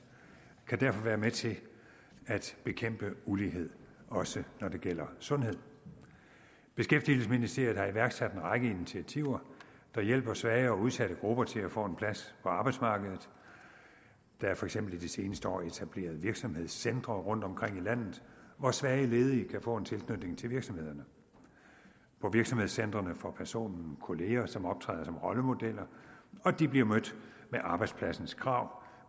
kan derfor være med til at bekæmpe ulighed også når det gælder sundhed beskæftigelsesministeriet har iværksat en række initiativer der hjælper svage og udsatte grupper til at få en plads på arbejdsmarkedet der er for eksempel i de seneste år etableret virksomhedscentre rundtomkring i landet hvor svage ledige kan få en tilknytning til virksomhederne på virksomhedscentrene får personen kolleger som optræder som rollemodeller og de bliver mødt med arbejdspladsens krav